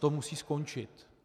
To musí skončit.